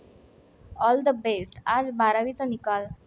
All the best! आज बारावीचा निकाल